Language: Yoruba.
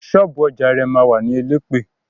Ṣọ́ọ̀bú ọjà rẹ̀ ma wà ní Elẹ́pẹ̀.